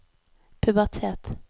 pubertet